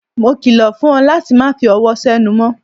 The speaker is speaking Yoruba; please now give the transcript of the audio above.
Mo kilo fún ọ láti má fi ọwọ senu mó.